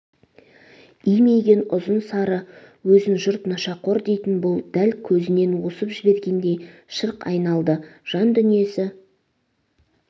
имиген ұзын сары өзін жұрт нашақор дейтін бұл дәл көзінен осып жібергендей шырқ айналды жан дүниесі